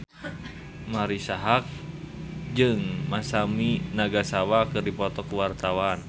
Marisa Haque jeung Masami Nagasawa keur dipoto ku wartawan